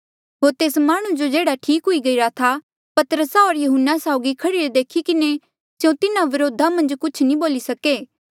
होर तेस माह्णुं जो जेह्ड़ा ठीक हुई गईरा था पतरसा होर यहुन्ना साउगी खड़ीरा देखी किन्हें स्यों तिन्हारे व्रोधा मन्झ कुछ नी बोली सके